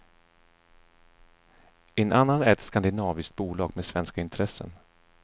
En annan är ett skandinaviskt bolag med svenska intressen.